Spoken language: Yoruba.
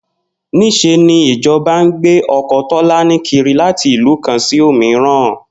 Nís̩e ni ìjo̩ba ń gbé o̩ko̩ Tó̩lání kiri láti ìlú kan sí òmíran